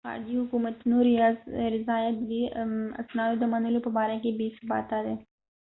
د خارجي حکومتونو رضایت ددې اسنادو د منلو په باره کې بې ثباته دی